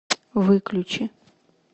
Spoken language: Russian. выключи